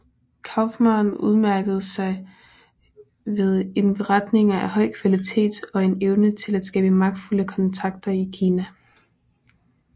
Kauffmann udmærkede sig ved indberetninger af høj kvalitet og en evne til at skabe magtfulde kontakter i Kina